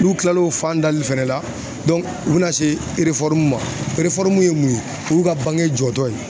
N'u kila l'o fan dali fɛnɛ la u be na se ma ye mun ye , o y'u ka bange jɔ tɔ ye.